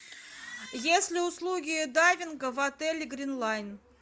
есть ли услуги дайвинга в отеле грин лайн